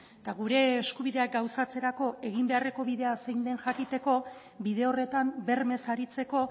eta gure eskubideak gauzatzerako egin beharreko bidea zein den jakiteko bide horretan bermez aritzeko